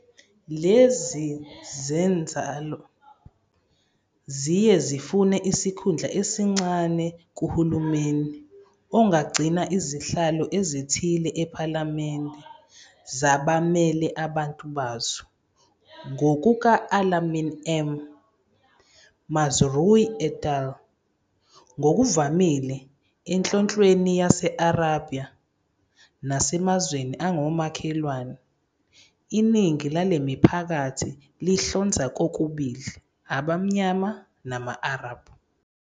Lezi zinzalo ziye zafuna isikhundla esincane kuhulumeni, ongagcina izihlalo ezithile ePhalamende zabamele abantu bazo. Ngokuka-Alamin M. Mazrui et al., ngokuvamile eNhlonhlweni Yase-Arabia nasemazweni angomakhelwane, iningi lale miphakathi lihlonza kokubili abamnyama nama-Arab.